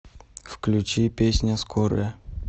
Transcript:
включи песня скорая